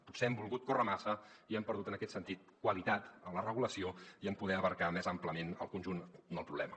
potser hem volgut córrer massa i hem perdut en aquest sentit qualitat en la regulació i en poder abastar més àmpliament el conjunt del problema